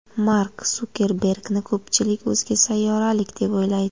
Mark Sukerbergni ko‘pchilik o‘zga sayyoralik deb o‘ylaydi.